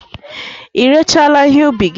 Ị rechaala ihe ụbi gi?